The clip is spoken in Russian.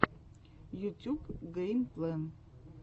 ютьюб гэймплэн